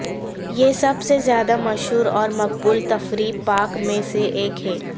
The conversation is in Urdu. یہ سب سے زیادہ مشہور اور مقبول تفریحی پارک میں سے ایک ہے